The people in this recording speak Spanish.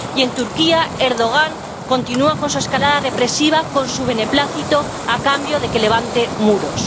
Y en Turquía, Erdogan continúa con su escalada represiva con su beneplácito, a cambio de que levante muros.